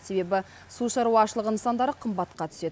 себебі су шаруашылығы нысандары қымбатқа түседі